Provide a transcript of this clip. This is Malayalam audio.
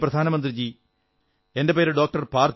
മാനനീയ പ്രധാനമന്ത്രിജീ എന്റെ പേര് ഡോ